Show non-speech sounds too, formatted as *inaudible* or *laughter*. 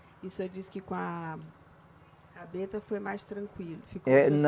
E o senhor disse que com a rabeta foi mais tranquilo. *unintelligible*